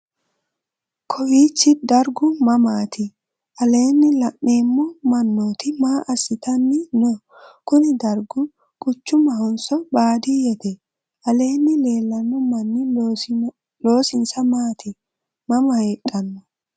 kowichi dargu mamaati? aleenni la'neemmo mannooti maa assitanni no? kuni dargu quchumahonso baaddiyete? aleenni leellanno mannihu loosinsa maati? mama heedhanno?